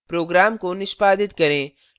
program को निष्पादित करें